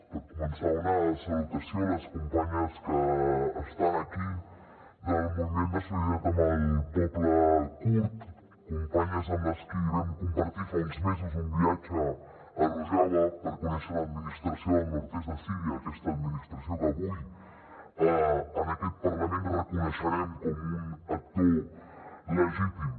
per començar una salutació a les companyes que estan aquí del moviment de solidaritat amb el poble kurd companyes amb qui vam compartir fa uns mesos un viatge a rojava per conèixer l’administració del nord est de síria aquesta administració que avui en aquest parlament reconeixerem com un actor legítim